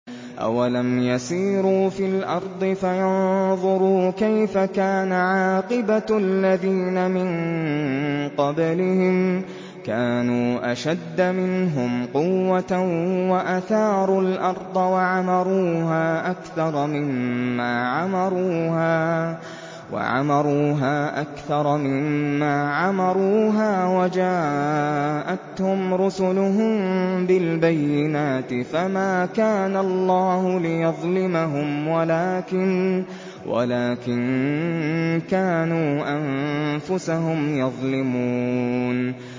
أَوَلَمْ يَسِيرُوا فِي الْأَرْضِ فَيَنظُرُوا كَيْفَ كَانَ عَاقِبَةُ الَّذِينَ مِن قَبْلِهِمْ ۚ كَانُوا أَشَدَّ مِنْهُمْ قُوَّةً وَأَثَارُوا الْأَرْضَ وَعَمَرُوهَا أَكْثَرَ مِمَّا عَمَرُوهَا وَجَاءَتْهُمْ رُسُلُهُم بِالْبَيِّنَاتِ ۖ فَمَا كَانَ اللَّهُ لِيَظْلِمَهُمْ وَلَٰكِن كَانُوا أَنفُسَهُمْ يَظْلِمُونَ